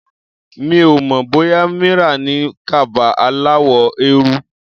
Mi ò mọ̀ bóyá Mira ní kaba aláwọ̀ eérú.